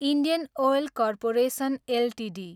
Indian Oil Corporation Ltd